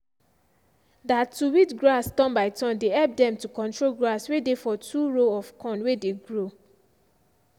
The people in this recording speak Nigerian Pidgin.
that to weed grass turn by turn dey help dem to control grass way dey for two row of corn way dey grow.